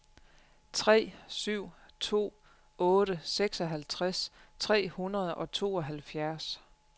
tre syv to otte seksoghalvtreds tre hundrede og tooghalvfjerds